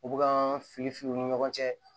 U bɛ ka n fili fili u ni ɲɔgɔn cɛ